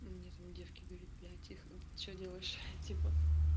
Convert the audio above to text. мне там девки говорит блять их что делаешь типа